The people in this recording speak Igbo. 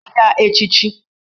Chie ya echichi!